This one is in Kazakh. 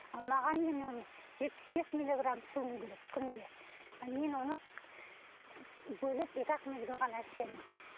ал маған мен оны жетпіс бес миллиграмм ішіуім керек күнде ал мен оны бөліп екі ақ мезгіл ғана ішемін